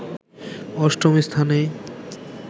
অষ্টম স্থানে